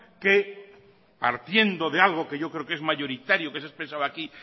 que partiendo de algo que yo creo que es mayoritario que he expresado aquí